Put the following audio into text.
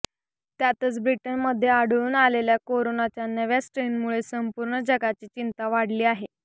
त्यातच ब्रिटनमध्ये आढळून आलेल्या कोरोनाच्या नव्या स्ट्रेनमुळे संंपूर्ण जगाची चिंता वाढली आहे